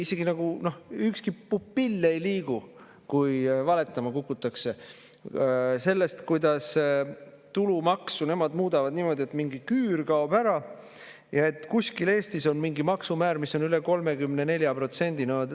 Isegi nagu ükski pupill ei liigu, kui valetama kukutakse sellest, kuidas tulumaksu nemad muudavad niimoodi, et mingi küür kaob ära ja et kuskil Eestis on mingi maksumäär, mis on üle 34%.